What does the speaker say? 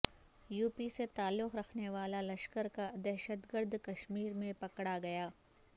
you P سے تعلق رکھنے والا لشکر کا دہشتگرد کشمیر میں پکڑا گیا